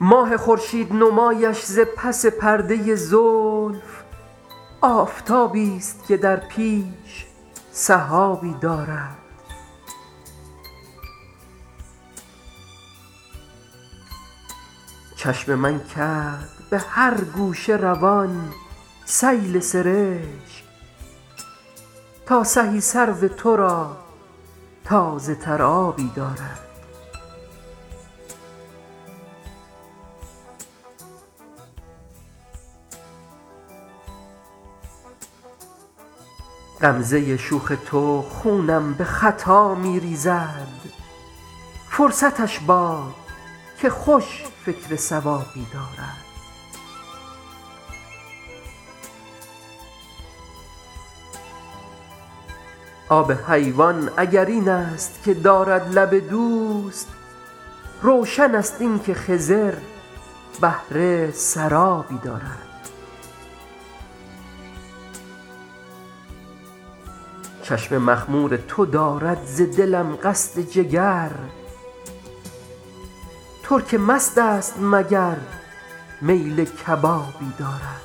ماه خورشید نمایش ز پس پرده زلف آفتابیست که در پیش سحابی دارد چشم من کرد به هر گوشه روان سیل سرشک تا سهی سرو تو را تازه تر آبی دارد غمزه شوخ تو خونم به خطا می ریزد فرصتش باد که خوش فکر صوابی دارد آب حیوان اگر این است که دارد لب دوست روشن است این که خضر بهره سرابی دارد چشم مخمور تو دارد ز دلم قصد جگر ترک مست است مگر میل کبابی دارد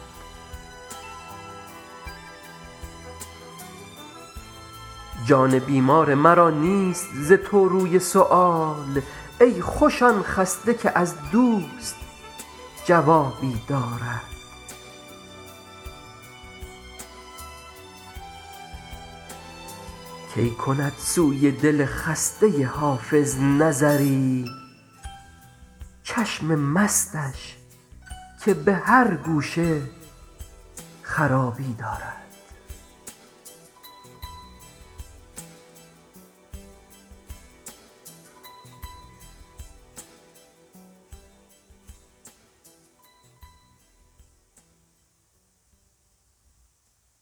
جان بیمار مرا نیست ز تو روی سؤال ای خوش آن خسته که از دوست جوابی دارد کی کند سوی دل خسته حافظ نظری چشم مستش که به هر گوشه خرابی دارد